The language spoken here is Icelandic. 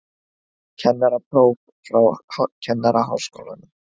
Kennarapróf frá Kennaraháskólanum